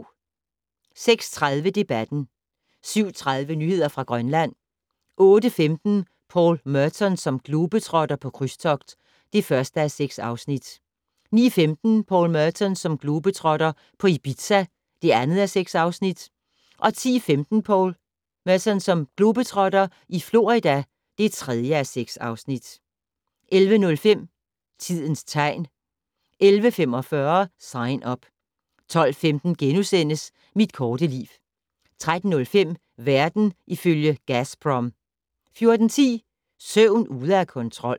06:30: Debatten 07:30: Nyheder fra Grønland 08:15: Paul Merton som globetrotter - på krydstogt (1:6) 09:15: Paul Merton som globetrotter - på Ibiza (2:6) 10:15: Paul Meton som globetrotter - i Florida (3:6) 11:05: Tidens tegn 11:45: Sign Up 12:15: Mit korte liv * 13:05: Verden ifølge Gazprom 14:10: Søvn ude af kontrol